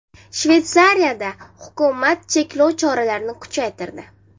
Shveysariyada hukumat cheklov choralarini kuchaytirdi.